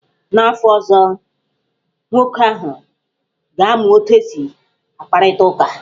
N'afọ ọzọ, nwoke ahụ ga-amụ otu esi akparịta ụka.